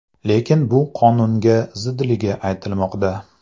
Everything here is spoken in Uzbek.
Lekin bu qonunga zidligi aytilmoqda.